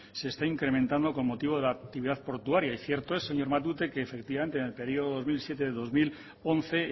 se está incrementando con motivo de la actividad portuaria y cierto es señor matute que efectivamente en el periodo dos mil siete dos mil once